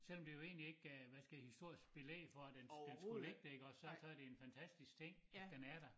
Selvom det jo egentlig ikke øh hvad skal jeg sige historisk belæg for at den den skulle ligge der iggås så så det en fantastisk ting at den er der